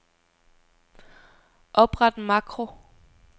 Opret makro.